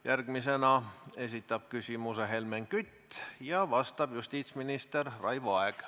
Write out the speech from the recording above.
Järgmisena esitab küsimuse Helmen Kütt ja talle vastab justiitsminister Raivo Aeg.